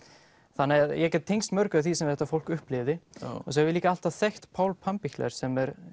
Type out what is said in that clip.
þannig að ég get tengst mörgu því sem þetta fólk upplifði svo hef ég líka alltaf þekkt Pál Pampichler sem er